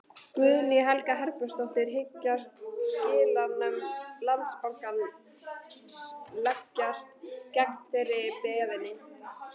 Guðný Helga Herbertsdóttir: Hyggst skilanefnd Landsbankans leggjast gegn þeirri beiðni?